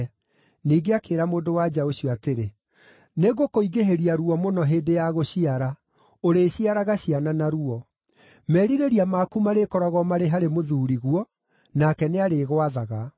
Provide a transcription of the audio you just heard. Ningĩ akĩĩra mũndũ-wa-nja ũcio atĩrĩ, “Nĩngũkũingĩhĩria ruo mũno hĩndĩ ya gũciara; ũrĩciaraga ciana na ruo. Merirĩria maku marĩkoragwo marĩ harĩ mũthuuriguo, nake nĩarĩgwathaga.”